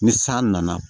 Ni san nana